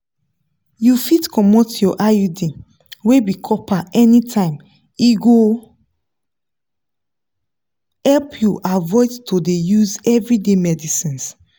you fit comot your iud wey be copper anytime e go help you avoid to dey use everyday medicines.